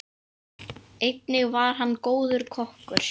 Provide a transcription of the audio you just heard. Einnig var hann góður kokkur.